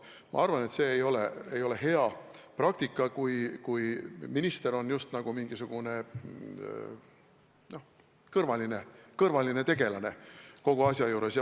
Ma arvan, et see ei ole hea praktika, kui minister on just nagu mingisugune kõrvaline tegelane kogu asja juures.